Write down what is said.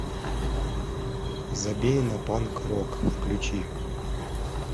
забей на панк рок включи